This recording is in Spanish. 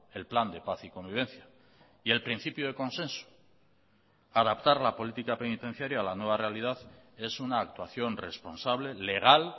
el plan de paz y convivencia y el principio de consenso adaptar la política penitenciaria a la nueva realidad es una actuación responsable legal